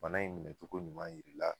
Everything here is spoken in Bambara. Bana in minɛcogo ɲuman yir'i la